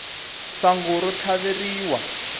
sangu ro tlhaveriwa